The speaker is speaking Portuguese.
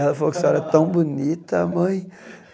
Ela falou que você era tão bonita, mãe.